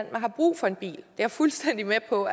man har brug for en bil jeg er fuldstændig med på